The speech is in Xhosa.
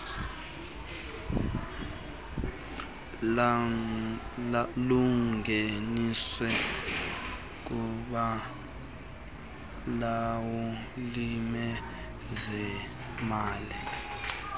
lungeniswe kubalawuli bezemali